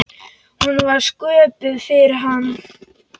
Hún var sköpuð fyrir hann.